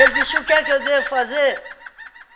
disse, o que é que eu devo fazer?